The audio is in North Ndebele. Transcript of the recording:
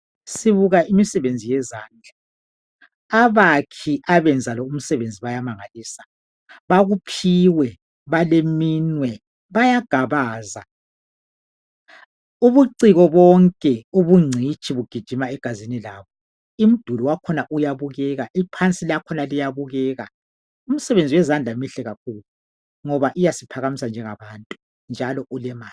Sibuka imisebenzi yezandla, abakhi abenza umsebenzi lo bayamangalisa bakuphiwe baleminwe bayagabaza. Ubuciko bonke bugijima egazini labo. Umduli uyabukeka, iphansi lakhona liyabukeka. Umsebenzi wezandlamihle kakhu ngoba uyasiphakamisa njalo njengabantu njalo ulemali.